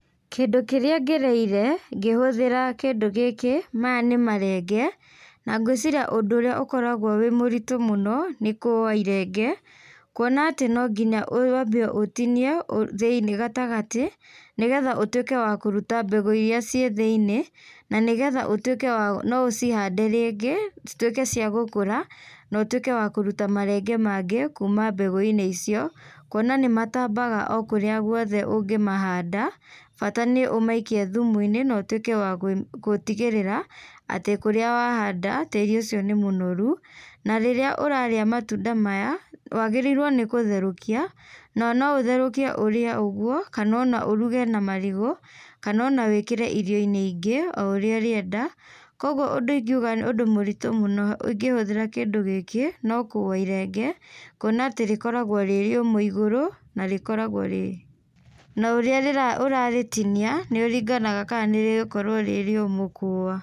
Kĩndũ kĩrĩa ngereire ngĩhũthĩra kĩndũ gĩkĩ, maya nĩ marenge na ngũciria ũndũ ũrĩa ũkoragwo wĩ mũritũ mũno nĩ kũwa irenge, kuona atĩ no ngina wambe ũtinie thĩiniĩ gatagatĩ nĩgetha ũtuĩke wa kũruta mbegũ iria ciĩ thĩiniĩ, na nĩgetha ũtuĩke no ũcihande rĩngĩ cituĩke cia gũkũra na ũtuĩke wa kũruta marenge mangĩ kuma mbegũ-inĩ icio, kuona nĩ matambaga okũrĩa guothe ũngĩmahanda, bata nĩ ũmaikie thumu-inĩ na ũtuĩke wa gũtigĩrĩra atĩ kũrĩa wahanda tĩri ũcio nĩ mũnoru. Na rĩrĩa ũrarĩa matunda maya wagĩrĩirwo nĩ gũtherũkia na no ũtherũkie ũrĩa ũguo kana ona ũruge na marigũ kana ona wĩkĩre irio-inĩ ingĩ o ũrĩa ũrĩenda. Koguo ũndũ ingiuga nĩ ũndũ mũritu mũno ingĩhũthĩra kĩndũ gĩkĩ no kũwa irenge, kuona atĩ rĩkoragwo rĩrĩũmũ igũrũ, narĩkoragwo na ũrĩa ũrarĩtinia nĩũringanaga kana nĩrĩgũkorwo rĩrĩũmũ kũũwa.